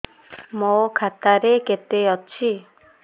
ମୋ ଖାତା ରେ କେତେ ଅଛି